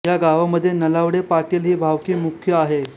या गावामध्ये नलावडे पाटील हि भावकी मुख्य आहे